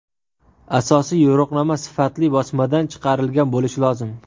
Asosiy yo‘riqnoma sifatli bosmadan chiqarilgan bo‘lishi lozim.